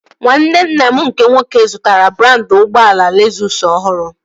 Nwanne nna m nke nwoke zụtara brandị ụgbọala Lezụs ọhụrụ